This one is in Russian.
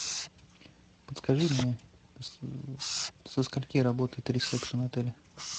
подскажи мне со скольки работает ресепшн отеля